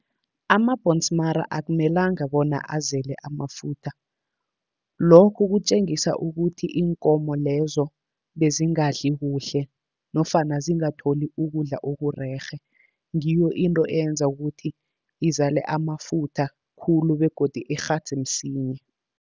Amabhonsmara akumelanga bona azale amafutha. Lokhu kutjengisa ukuthi iinkomo lezo bezingadli kuhle nofana zingatholi ukudla okurerhe. Ngiyo into eyenza ukuthi izale amafutha khulu begodu ikghadze msinya.